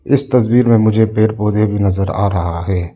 इस तस्वीर में मुझे पेड़ पौधे भी नजर आ रहा है।